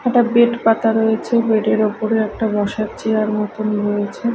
একটা বেড পাতা রয়েছে বেড -এর ওপরে একটা বসার চেয়ার মতন রয়েছে।